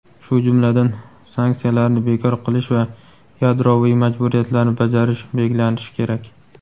shu jumladan "sanksiyalarni bekor qilish va yadroviy majburiyatlarni bajarish" belgilanishi kerak.